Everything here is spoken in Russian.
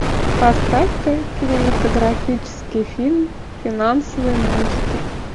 поставь ка кинематографический фильм финансовый монстр